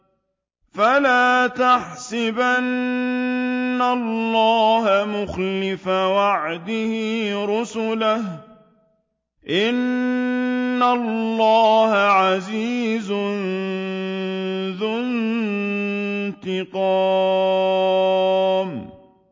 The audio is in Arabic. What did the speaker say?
فَلَا تَحْسَبَنَّ اللَّهَ مُخْلِفَ وَعْدِهِ رُسُلَهُ ۗ إِنَّ اللَّهَ عَزِيزٌ ذُو انتِقَامٍ